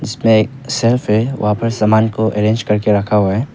इसमें एक सेल्फ है वहां पर सामान को अरेंज करके रखा हुआ है।